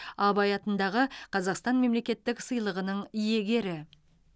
абай атындағы қазақстан мемлекеттік сыйлығының иегері